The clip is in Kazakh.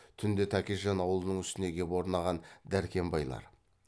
түнде тәкежан аулының үстіне кеп орнаған дәркембайлар